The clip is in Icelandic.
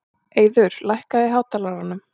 Eiður, lækkaðu í hátalaranum.